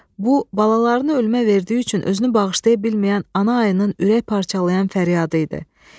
Bu, balalarını ölmə verdiyi üçün özünü bağışlaya bilməyən ana ayının ürək parçalayan fəryadı idi.